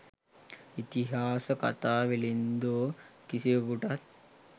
'ඉතිහාස කතා වෙළෙන්දෝ' කිසිවකුටත්